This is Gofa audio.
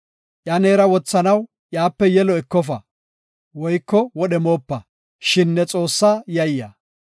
Iya neera wothanaw iyape yelo ekofa woyko wodhe moopa. Shin ne Xoossaa yayya.